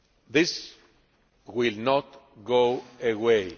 This will not go away.